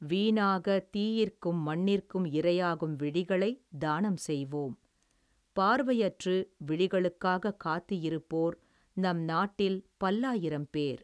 வீணாக தீயிற்க்கும், மண்ணிற்க்கும், இரையாகும், விழிகளை தானம் செய்வோம், பார்வையற்று, விழிகளுக்காக காத்து இருப்போர், நம் நாட்டில் பல்லாயிரம் பேர்.